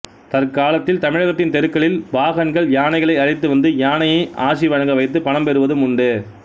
தற்காலத்தில் தமிழகத்தின் தெருக்களில் பாகன்கள் யானைகளை அழைத்து வந்து யானையை ஆசி வழங்க வைத்து பணம் பெறுவதும் உண்டு